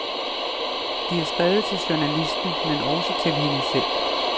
De er skrevet til journalisten, men også til hende selv.